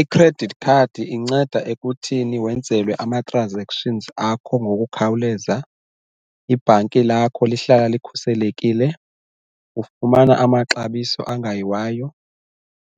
I-credit card inceda ekuthini wenzelwe ama-transactions akho ngokukhawuleza, ibhanki lakho lihlala likhuselekile, ufumana amaxabiso angayiwayo,